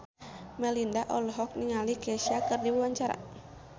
Melinda olohok ningali Kesha keur diwawancara